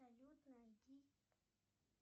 салют найди